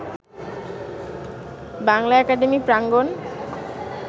Bangla academy প্রাঙ্গণ